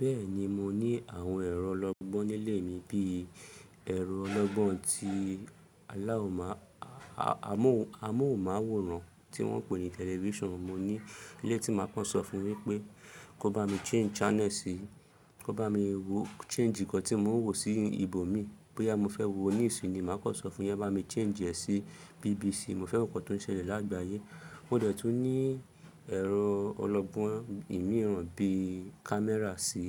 Bẹ́ẹ̀ni mo ní àwọn ẹ̀rọ ọlọ́gbọ́n nílé mi, bí ẹ̀rọ ọlọ́gbọ́n ti aláwò má, amóhùnmáwòrán tí wọ́n ń pè ní television. Mo ní eleyi tí màá kọ́ sọ fún wípé kó bá mi change channel sí í, kó bá mi wo change nkàn tí mò ń wò sí ìbò mi, bóyá mo fẹ́ wo News ni, màá kọ́ sọ fún yán, bá mi change ẹ̀ sí BBC. Mo fẹ́ wo nǹkan tó ń ṣẹlẹ̀ lágbàáyé. Ó dẹ̀ tún ní ẹ̀rọ ọlọ́gbọ́n ìmíràn bí camera sí